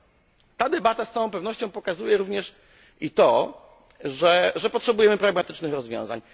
Niniejsza debata z cała pewnością pokazuje również i to, że potrzebujemy pragmatycznych rozwiązań.